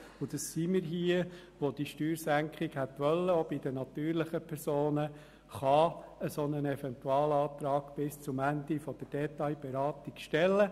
Eine Minderheit – das sind wir, die eine Steuersenkung auch bei den natürlichen Personen gewollt haben – kann einen solchen Eventualantrag bis zum Ende der Detailberatung stellen.